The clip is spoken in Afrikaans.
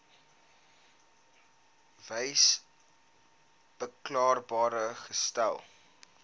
wyse beskikbaar gestel